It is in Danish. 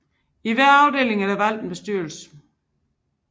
I hver afdeling er der valgt en bestyrelse